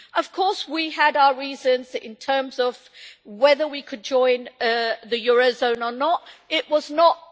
Of course we had our reasons in terms of whether we could join the eurozone or not.